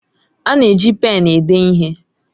A na-eji pén ede ihe.